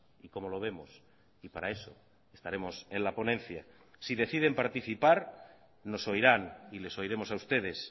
y cómo lo vemos y para eso estaremos en la ponencia si deciden participar nos oirán y les oiremos a ustedes